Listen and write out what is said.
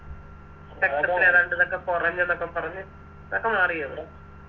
രക്തത്തിലെതണ്ട് ഇതൊക്കെ കൊറഞ്ഞെന്നൊക്കെ പറഞ്ഞ് അതൊക്കെ മാറിയോ അവന്